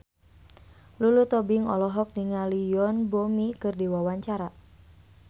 Lulu Tobing olohok ningali Yoon Bomi keur diwawancara